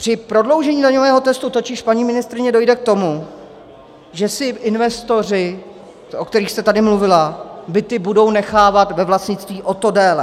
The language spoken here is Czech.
Při prodloužení daňového testu totiž, paní ministryně, dojde k tomu, že si investoři, o kterých jste tady mluvila, byty budou nechávat ve vlastnictví o to déle.